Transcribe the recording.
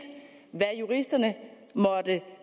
hvad juristerne måtte